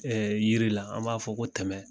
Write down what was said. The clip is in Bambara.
Ɛɛ yiri la an b'a fɔ ko tɛmɛ